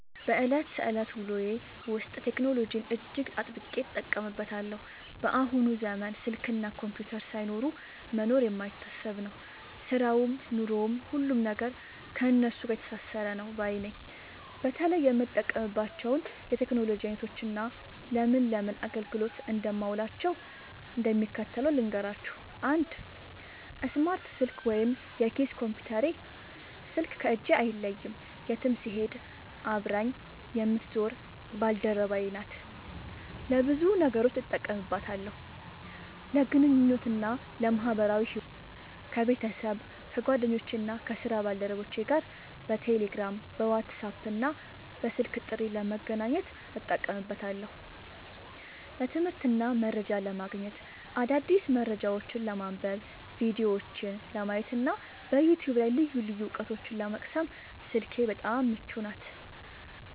በዕለት ተዕለት ውሎዬ ውስጥ ቴክኖሎጂን እጅግ አጥብቄ እጠቀምበታለሁ። በአሁኑ ዘመን ስልክና ኮምፒውተር ሳይኖሩ መኖር የማይታሰብ ነው፤ ሥራውም ኑሮውም፣ ሁሉም ነገር ከእነሱ ጋር የተሳሰረ ነው ባይ ነኝ። በተለይ የምጠቀምባቸውን የቴክኖሎጂ ዓይነቶችና ለምን ለምን አገልግሎት እንደማውላቸው እንደሚከተለው ልንገራችሁ፦ 1. ስማርት ስልክ (የኪስ ኮምፒውተሬ) ስልክ ከእጄ አይለይም፤ የትም ስሄድ አብራኝ የምትዞር ባልደረባዬ ናት። ለብዙ ነገሮች እጠቀምባታለሁ፦ ለግንኙነትና ለማኅበራዊ ሕይወት፦ ከቤተሰብ፣ ከጓደኞቼና ከሥራ ባልደረቦቼ ጋር በቴሌግራም፣ በዋትስአፕና በስልክ ጥሪ ለመገናኘት እጠቀምበታለሁ። ለትምህርትና መረጃ ለማግኘት፦ አዳዲስ መረጃዎችን ለማንበብ፣ ቪዲዮዎችን ለማየትና በዩቲዩብ ላይ ልዩ ልዩ ዕውቀቶችን ለመቅሰም ስልኬ በጣም ምቹ ናት።